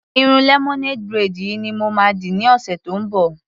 Irun lemonade braid yìí ni mo ma dì ní ọ̀sẹ̀ tí ó ń bọ̀.